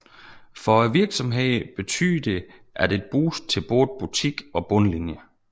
For virksomhederne betyder det et boost til både butik og bundlinje